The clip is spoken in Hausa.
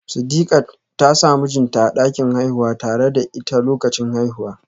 Sidiqat ta sa mijinta a dakin haihuwa tare da ita lokacin haihuwa